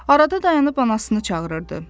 Arada dayanıb anasını çağırırdı.